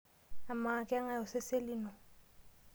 Amaa keng'e osesen lino?